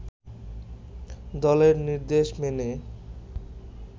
দলের নির্দেশ মেনে